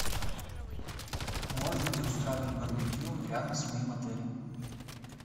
можно ли устраивать барбекю рядом с моим отелем